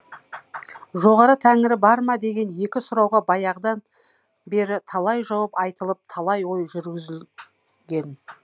жоғарғы тәңірі бар ма деген екі сұрауға баяғыдан бері талай жауап айтылып талай ой жүргізілген